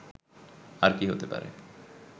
আর কী হতে পারে